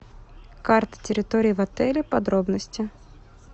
карта территории в отеле подробности